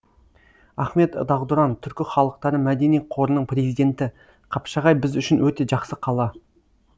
ахмет дағдұран түркі халықтары мәдени қорының президенті қапшағай біз үшін өте жақсы қала